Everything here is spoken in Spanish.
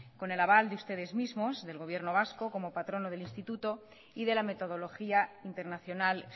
con el aval de ustedes mismos del gobierno vasco como patrono del instituto y de la metodología internacional